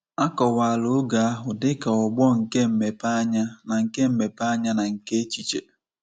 A kọwara oge ahụ dị ka ọgbọ nke mmepeanya na nke mmepeanya na nke echiche.